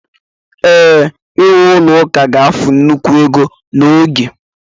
ee, iwu ụlọ ụka ga-efu nnukwu ego na oge